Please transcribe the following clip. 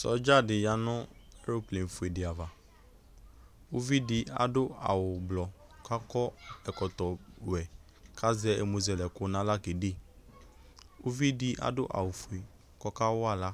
Sɔdza dɩ ya nʋ eroplefue dɩ ava Uvi dɩ adʋ awʋ ʋblɔ kʋ akɔ ɛkɔtɔwɛ kʋ azɛ ɛmʋzɛlɛko nʋ aɣla kede Uvi dɩ adʋ awʋfue kʋ ɔkawa aɣla